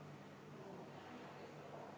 Kuidas sellega on?